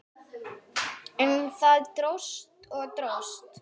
En það dróst og dróst.